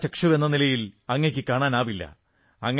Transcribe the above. പ്രജ്ഞാചക്ഷുവെന്ന നിലയിൽ അങ്ങയ്ക്ക് കാണാനാവില്ല